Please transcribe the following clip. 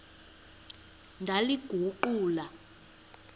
ndaliguqula